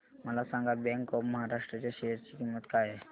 मला सांगा bank of Maharashtra च्या शेअर ची किंमत काय आहे